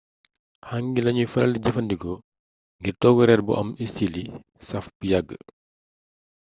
hangi lañuy faral di jëfandikoo ngir togg reer bu am istili saaf bu yàgg